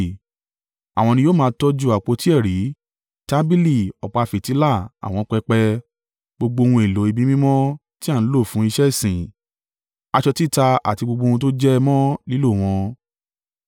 Àwọn ni yóò máa tọ́jú àpótí ẹ̀rí, tábìlì, ọ̀pá fìtílà, àwọn pẹpẹ, gbogbo ohun èlò ibi mímọ́ tí à ń lò fún iṣẹ́ ìsìn, aṣọ títa àti gbogbo ohun tó jẹ mọ́ lílò wọn.